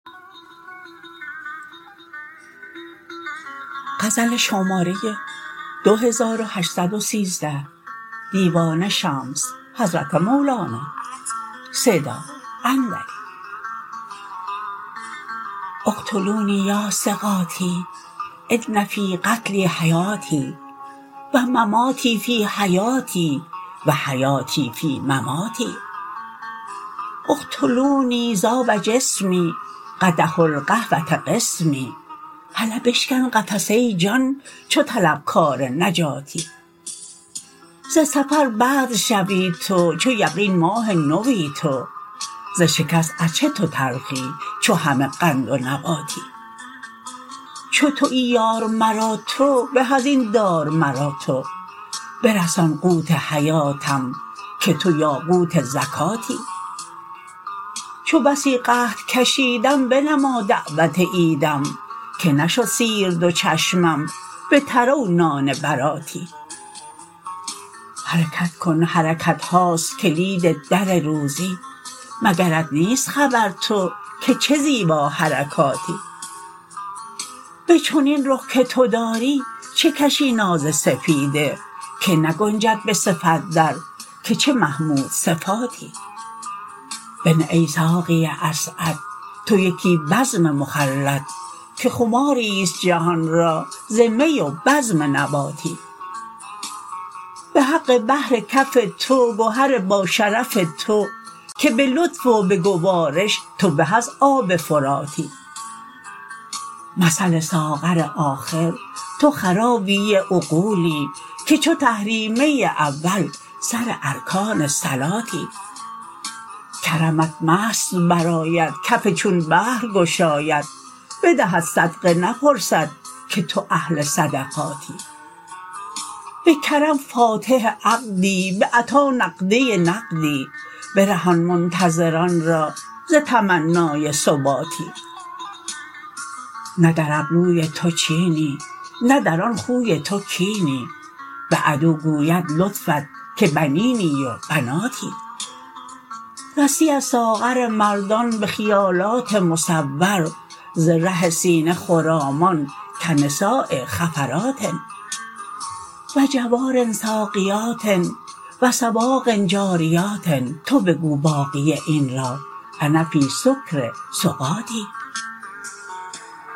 اقتلونی یا ثقاتی ان فی قتلی حیاتی و مماتی فی حیاتی و حیاتی فی مماتی اقتلونی ذاب جسمی قدح القهوه قسمی هله بشکن قفس ای جان چو طلبکار نجاتی ز سفر بدر شوی تو چو یقین ماه نوی تو ز شکست از چه تو تلخی چو همه قند و نباتی چو توی یار مرا تو به از این دار مرا تو برسان قوت حیاتم که تو یاقوت زکاتی چو بسی قحط کشیدم بنما دعوت عیدم که نشد سیر دو چشمم به تره و نان براتی حرکت کن حرکت هاست کلید در روزی مگرت نیست خبر تو که چه زیباحرکاتی به چنین رخ که تو داری چه کشی ناز سپیده که نگنجد به صفت در که چه محمودصفاتی بنه ای ساقی اسعد تو یکی بزم مخلد که خماری است جهان را ز می و بزم نباتی به حق بحر کف تو گهر باشرف تو که به لطف و به گوارش تو به از آب فراتی مثل ساغر آخر تو خرابی عقولی که چو تحریمه اول سر ارکان صلاتی کرمت مست برآید کف چون بحر گشاید بدهد صدقه نپرسد که تو اهل صدقاتی به کرم فاتح عقدی به عطا نقده نقدی برهان منتظران را ز تمنای سباتی نه در ابروی تو چینی نه در آن خوی تو کینی به عدو گوید لطفت که بنینی و بناتی رسی از ساغر مردان به خیالات مصور ز ره سینه خرامان کنساء خفرات و جوار ساقیات و سواق جاریات تو بگو باقی این را انا فی سکر سقاتی